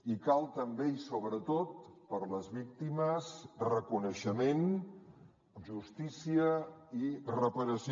i cal també i sobretot per a les víctimes reconeixement justícia i reparació